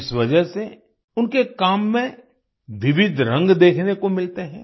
इस वजह से उनके काम में विविध रंग देखने को मिलते हैं